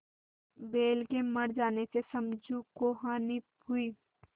बैल के मर जाने से समझू को हानि हुई